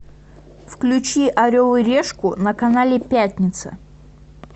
включи орел и решку на канале пятница